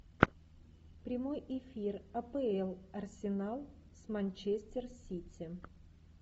прямой эфир апл арсенал с манчестер сити